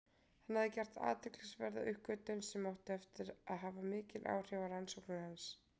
Hann hafði gert athyglisverða uppgötvun sem átti eftir að hafa mikil áhrif á rannsóknir hans.